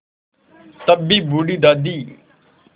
तब भी बूढ़ी दादी